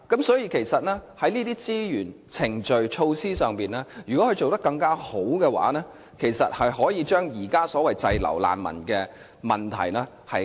所以，如果資源、程序及措施上可以做得更好的話，其實便可以加快改善現時所謂的難民滯港問題。